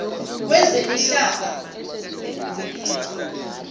wezemihlaba